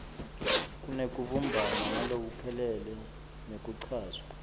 kunekubumbana ngalokuphelele nekuchazwa